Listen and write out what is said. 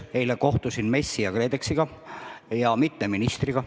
Eile kohtusin MES-i ja KredExiga ja mitme ministriga.